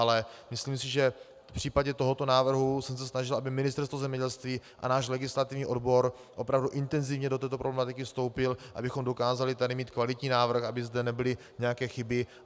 Ale myslím si, že v případě tohoto návrhu jsem se snažil, aby Ministerstvo zemědělství a náš legislativní odbor opravdu intenzivně do této problematiky vstoupily, abychom dokázali tady mít kvalitní návrh, aby zde nebyly nějaké chyby.